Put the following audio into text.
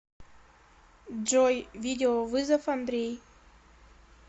джой видеовызов андрей